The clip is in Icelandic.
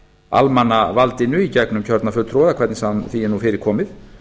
almannavaldinu í gegnum kjörna fulltrúa eða hvernig sem því er nú fyrir komið